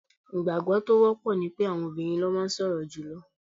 Ìgbàgbọ́ tí ó wọ́pọ̀ ni pé àwọn obìrin ló máa ń sọ̀rọ̀ jùlọ.